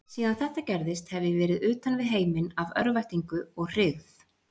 Síðan þetta gerðist hef ég verið utan við heiminn af örvæntingu og hryggð.